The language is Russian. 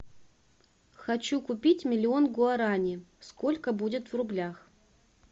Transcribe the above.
хочу купить миллион гуарани сколько будет в рублях